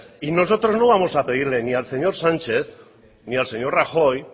y nosotros no vamos a pedirle ni al señor sánchez ni al señor rajoy